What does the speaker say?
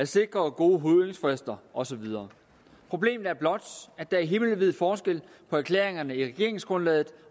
sikre gode høringsfrister og så videre problemet er blot at der er himmelvid forskel på erklæringerne i regeringsgrundlaget